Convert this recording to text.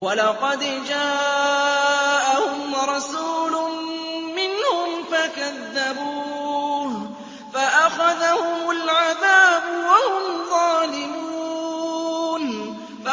وَلَقَدْ جَاءَهُمْ رَسُولٌ مِّنْهُمْ فَكَذَّبُوهُ فَأَخَذَهُمُ الْعَذَابُ وَهُمْ ظَالِمُونَ